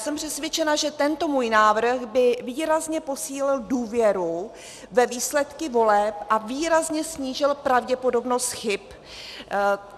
Jsem přesvědčena, že tento můj návrh by výrazně posílil důvěru ve výsledky voleb a výrazně snížil pravděpodobnost chyb.